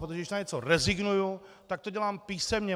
Protože když na něco rezignuji, tak to dělám písemně.